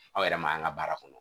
Aw yɛrɛ ma an ka baara kɔnɔ